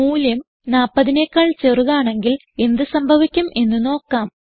മൂല്യം 40നെക്കാൾ ചെറുതാണെങ്കിൽ എന്ത് സംഭവിക്കും എന്ന് നോക്കാം